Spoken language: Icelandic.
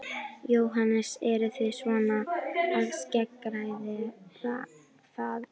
Jóhannes: Eruð þið svona að skeggræða það?